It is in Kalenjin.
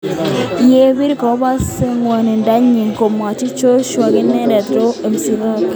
Yebir kobose ngwonindo nyin, komwochi Joshua kanentindet Rob McCracken.